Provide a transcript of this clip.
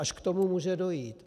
Až k tomu může dojít!